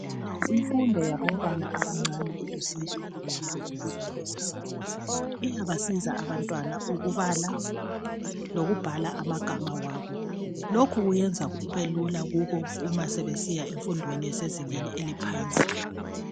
Imfundo yabantwana abancane ilusizo kakhulu empilweni zabo. Iyabasiza abantwana ukubala lokubhala amagama wabo. Lokhu kuyenza kubelula kubo uma sebesiya emfundweni esezingeni eliphansi.